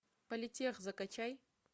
политех закачай